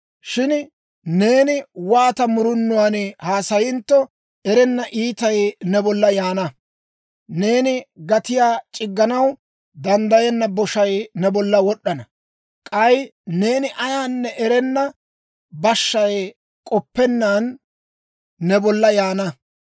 Shin neeni waata murunuwaan haassanintto erenna iitay ne bolla yaana. Neeni gatiyaa c'igganaw danddayenna boshay ne bollan wod'd'ana; k'ay neeni ayaanne erenna bashshay k'oppennaan ne bolla yaana.